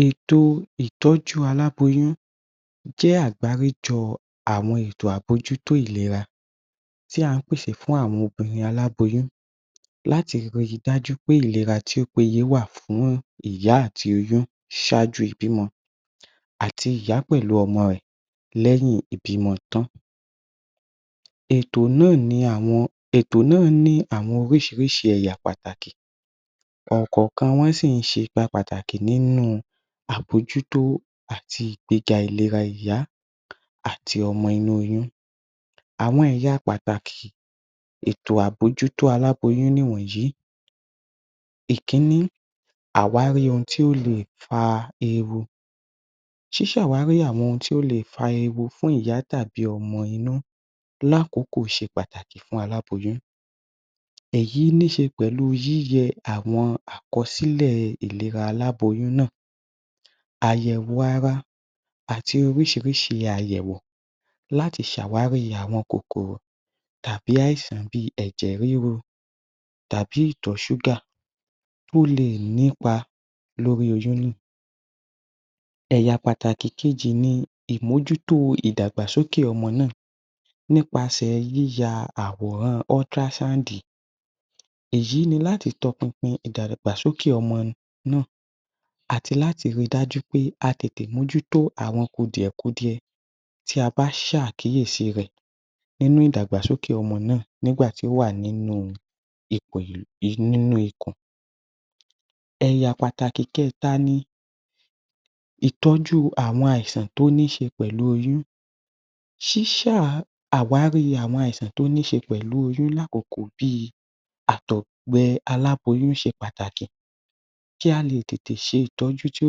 ‎Èèto ìtọ́jú aláboyún jẹ́ àgbáríjọ àwọn ètò àbójútó ìlera tí à ń pèsè fún àwọn obìnrin aláboyún láti le rí I dájú pé ìlera tí ó péye wà fún ìyá àti oyún ṣáájú ìbímọ àti ìyá pẹ̀lú ọmọ rẹ lẹ́yìn ìbímọ tán eto náà ní àwọn orísìírísìí ẹ̀yà pàtàkì ọ̀kọ̀ọ̀kan wọ́n sì ń ṣe ipa pàtàkì nínú àbójútó àti ìgbéga ìlera ìyá àti ọmọ inú oyún àwọn ẹ̀yá pàtàkì ètò àbójútó aláboyún ni ìwọ̀nyí, ìkíní àwárí ohun tí ó lè fa ewu ṣíṣàwárí ohun tí ó lè fa ewu fún ìyá tàbí ọmọ inú lákòókò ṣe pàtàkì fún aláboyún, èyí ní se pẹ̀lú yíyẹ àwọn àkọsílẹ̀ ìlera aláboyún náà àyẹ̀wò ara àti oríṣiríṣi àyẹ̀wò láti ṣàwárí àwọn kòkòrò tàbí àìsàn bíi ẹ̀jẹ̀ rírú tàbí ìtọ̀ ṣúgá tí ó lè nípa lórí oyún náà ẹ̀yà pàtàkì kejì ni ìmójútó ìdàgbàsókè ọmọ náà nípa yíya àwòrán ultrasound èyí ni láti tọ pinpin ìdàgbàsókè ọmọ náà àti láti rí í dájú pé a tètè mójútó àwọn kùdìẹ̀ kudiẹ tí a bá ṣe àkíyèsí rẹ nínú ìdàgbàsókè ọmọ náà nígbà tí ó wà nínú ipo ibí níniú ikùn, ẹ̀yà pàtàkì kẹta ni ìtọ́jú àwọn àìsàn tó ní ṣe pẹ̀lú oyún ṣíṣàwárí àwọn àìsàn tó ní ṣe pẹ̀lú oyún lákòókò bíi àtọ̀gbẹ aláboyún ṣe pàtàkì kí á lè tètè ṣe ìtọ́jú tó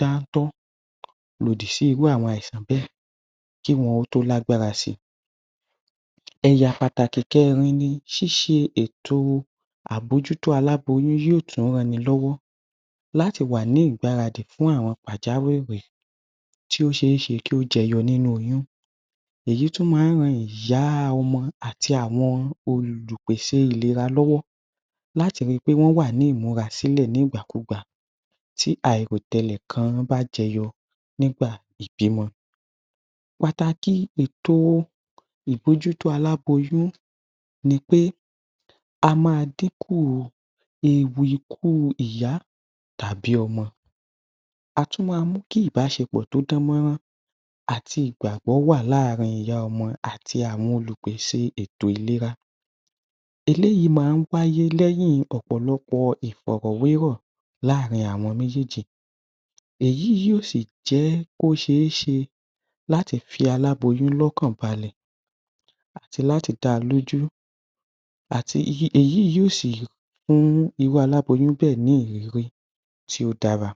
dáńtọ́ lòdì sí irú àwọn àìsàn bẹ́ẹ̀ kí ó tó di pé wọ́n lágbára sí í sí í ẹ̀yà pàtàkì kẹẹ̀rin ni ṣíṣe ètò àbójútó aláboyún yóò tún ran ni lọ́wọ́ láti wà ní ìgbáradì fún àìsàn pàjáwìrì tí ó ṣe é ṣe kí ó jẹyọ nínú oyún, èyí tún máa ń ran ìyá ọmọ àti àwọn Olùpèsè ìlera lọ́wọ́ láti rí i pé wọ́n wà ní ìmúrasílẹ̀ nígbà kúgbà tí àìròtẹlẹ̀ kan bá jẹyọ nígbà ìbímọ pàtàkì ètò ìbójútó aláboyún ni pé a máa dínkù ewu ikú ìyá àbí ọmọ a tún máa mú kí ìbásepọ̀ tó dán mọ́rán àti ìgbàgbọ́ wà láàrin ìyá ọmọ àti àwọn Olùpèsè ètò ìlera eléyìí máa ń wáyé lẹ́yìn ọ̀pọ̀lọpọ̀ ìfọ̀rọ̀wérọ̀ láàrin àwọn méjèèjì èyí yóò sì jẹ́ kó ṣe é ṣe láti fi aláboyún lọ́kàn balẹ̀